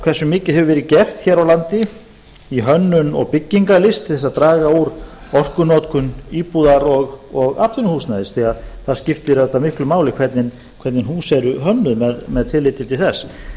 hversu mikið hefur verið gert hér á landi í hönnun og byggingarlist til að draga úr orkunotkun íbúðar og atvinnuhúsnæðis því það skiptir auðvitað miklu máli hvernig hús eru hönnuð með tilliti til þess